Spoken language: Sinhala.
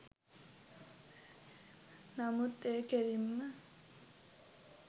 නමුත් එය කෙලින්ම